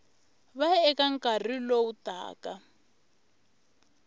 va eka nkarhi lowu taka